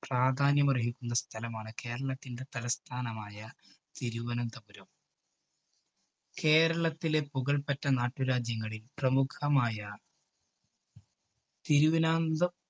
പ്രാധാന്യമര്‍ഹിക്കുന്ന സ്ഥലമാണ്, കേരളത്തിൻറെ തലസ്ഥാനമായ തിരുവനന്തപുരം. കേരളത്തിലെ പുകള്‍പെറ്റ നാട്ടുരാജ്യങ്ങളില്‍ പ്രമുഖമായ തിരുവാനാന്ത